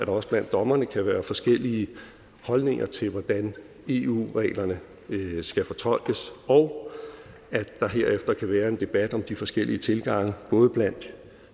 også blandt dommerne kan være forskellige holdninger til hvordan eu reglerne skal fortolkes og at der herefter kan være en debat om de forskellige tilgange både blandt